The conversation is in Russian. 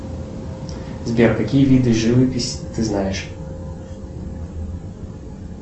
сбер какие виды живописи ты знаешь